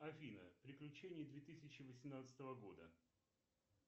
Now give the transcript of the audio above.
афина приключения две тысячи восемнадцатого года